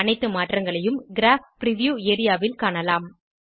அனைத்து மாற்றங்களையும் crop preview area ல் காணலாம்